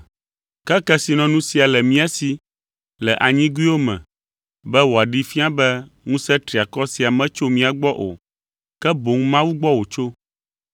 Ke kesinɔnu sia le mía si le anyigoewo me, be wòaɖee fia be ŋusẽ triakɔ sia metso mía gbɔ o, ke boŋ Mawu gbɔ wòtso.